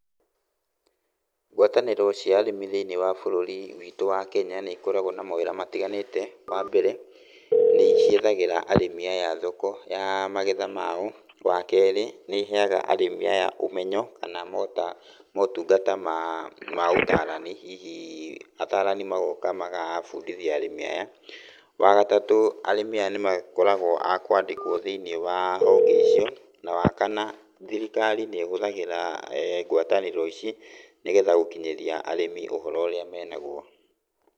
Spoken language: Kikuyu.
Ngwatanĩro cia arĩmi thĩiniĩ wa bũrũri witũ wa Kenya nĩ ikoragwo na mawĩra matiganĩte. Wa mbere nĩ ciethagĩra arĩmi aya thoko ya magetha mao. Wa kerĩ, nĩ iheaga arĩmi aya ũmenya kana maũtungata ma ũtaarani, hihi ataarani magooka magabundithia arĩmi aya. Wa gatatũ, arĩmi aya nĩ magĩkoragwo a kwandĩkwo thĩiniĩ wa honge icio, na wa kana, thirikari nĩ ĩhũthagĩra ngwatanĩro ici nĩgetha gũkinyĩria arĩmi ũhoro ũrĩa me naguo.